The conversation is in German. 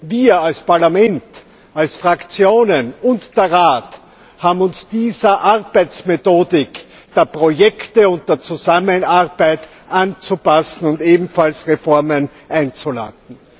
Wir als Parlament, als Fraktionen, und der Rat haben uns dieser Arbeitsmethodik der Projekte und der Zusammenarbeit anzupassen und ebenfalls Reformen einzuleiten.